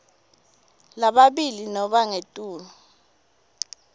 lababili nobe ngetulu